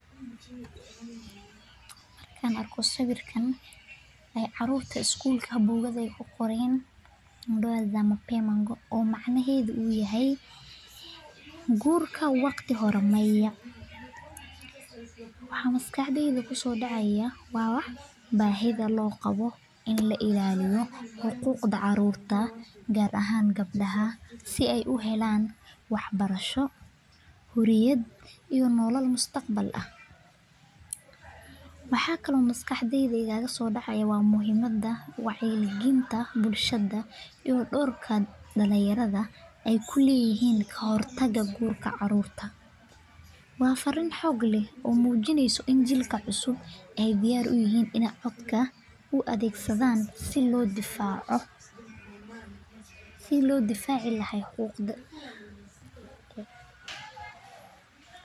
Markaan arko sawiirkaan oo caruurta ku qoreen warqada oo micnaheeda tahay guurka daqsiga maya waxaa la raaba in xaqiiqda gabdaha la ilaaliyo muhimada wacyi galinta bulshada waa fariin xoog ah oo mujineyso in jiilka aay adeegsan rabaa codkooda si loo difaaco xaqiiqda.